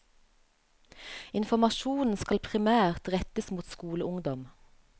Informasjonen skal primært rettes mot skoleungdom.